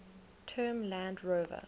term land rover